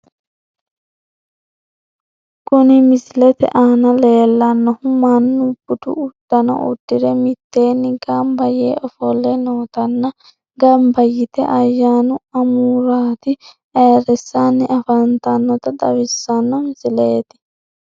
Kuni misilete aana leellannohu mannu budu uddanno uddire mitteenni gamba yee ofolle nootanna gamba yite ayyaanu amuraate ayiirrissanni afantannota xawissanno misileeti.